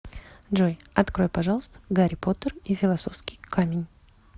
джой открой пожалуйста гарри поттер и филосовский камень